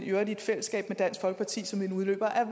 øvrigt i fællesskab med dansk folkeparti som en udløber af